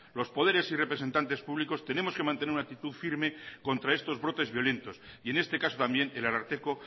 los poderes y representantes públicos tenemos que mantener una actitud firme contra estos brotes violentos y en este caso también el ararteko